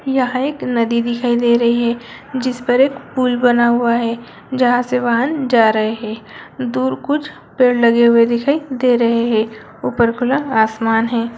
यहाँ एक नदी दिखाई दे रही है जिस पर एक पुल बना हुआ है जहाँ से वाहन जा रहे हैं दूर कुछ पेड़ लगे हुए दिखाई दे रहे हैं ऊपर खुला आसमान है।